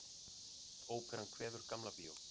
Óperan kveður Gamla bíó